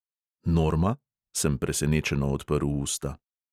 "Norma?" sem presenečeno odprl usta.